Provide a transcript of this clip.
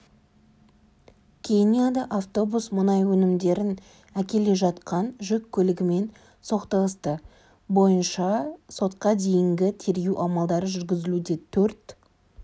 кенияда автобус мұнай өнімдерін әкеле жатқан жүк көлігімен соқтығысты бойынша сотқа дейінгі тергеу амалдары жүргізілуде төрт